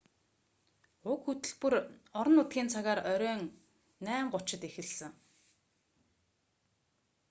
уг хөтөлбөр орон нутгийн цагаар оройн 8:30-д 15.00 utc эхэлсэн